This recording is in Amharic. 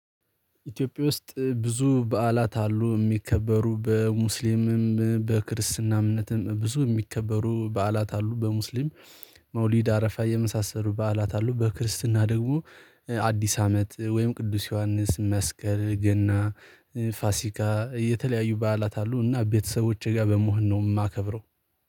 ኢትዮጵያ ውስጥ ብዙ በዓላት አሉ የሚከበሩ በሙስሊምም በክርስትና እምነትም ብዙ የሚከበሩ በዓላት አሉ። በሙስሊም መውሊድ፣ አረፋ የመሳሰሉ በዓላት አሉ። በክርስትና ደግሞ አዲስ አመት ወይም ቅዱስ ዮሐንስ፣ መስቀል፣ ገና፣ ፋሲካ የተለያዩ በዓላት አሉና ቤተሰቦቼ ጋር በመሆን ነው የማከብረው